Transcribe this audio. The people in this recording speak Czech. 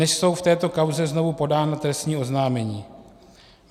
Dnes jsou v této kauze znovu podána trestní oznámení.